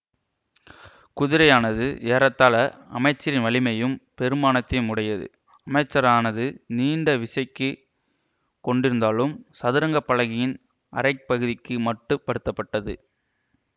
குதிரையானது ஏறத்தாழ அமைச்சரின் வலிமையையும் பெறுமானத்தையும் உடையது அமைச்சரானது நீண்ட விசைக்குக் கொண்டிருந்தாலும் சதுரங்க பலகையின் அரைப் பகுதிக்கு மட்டுப்படுத்தப்பட்டது